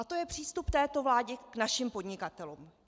A to je přístup této vlády k našim podnikatelům.